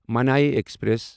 ماننٕے express